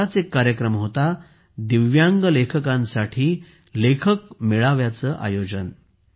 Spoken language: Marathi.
असाच एक कार्यक्रम होता दिव्यांग लेखकांसाठी लेखक मेळाव्याचे आयोजन